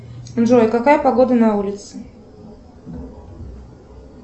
джой какая погода на улице